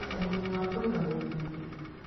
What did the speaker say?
Ũguni wa kũiga mwĩrĩ ũngĩ